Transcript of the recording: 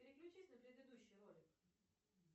переключись на предыдущий ролик